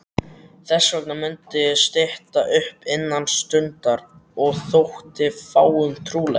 Þessvegna mundi stytta upp innan stundar- og þótti fáum trúlegt.